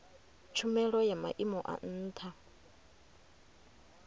tshumelo ya maimo a ntha